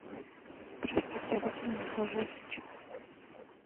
простите а где я нахожусь сейчас